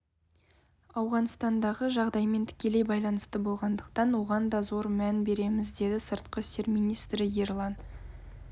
ауғанстандағы жағдаймен тікелей байланысты болғандықтан оған да зор мән береміз деді сыртқы істер министрі ерлан